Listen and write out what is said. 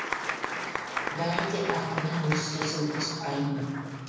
бәрі де ақынның өз сөзі өз пайымы